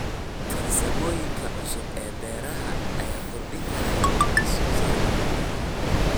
Farsamooyinka cusub ee beeraha ayaa kordhin kara wax soo saarka cuntada.